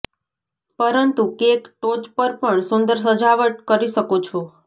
પરંતુ કેક ટોચ પર પણ સુંદર સજાવટ કરી શકો છો